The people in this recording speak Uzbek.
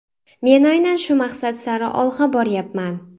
Men aynan shu maqsad sari olg‘a boryapman.